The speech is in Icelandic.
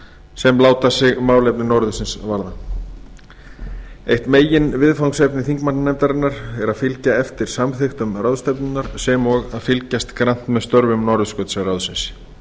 sem láta sig málefni norðursins varða eitt meginviðfangsefni þingmannanefndarinnar er að fylgja eftir samþykktum ráðstefnunnar sem og að fylgjast grannt með störfum norðurskautsráðsins